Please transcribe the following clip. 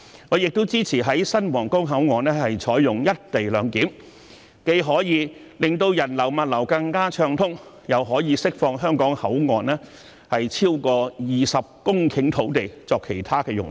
我亦支持在新皇崗口岸採用"一地兩檢"，既可以令人流和物流更暢通，又可以釋放香港口岸超過20公頃土地作其他用途。